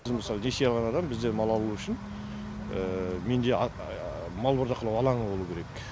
біз мысалы несие алған адам бізден мал алу үшін менде мал бордақылау алаңы болу керек